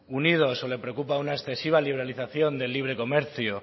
unidos o le preocupa una excesiva liberalización del libre comercio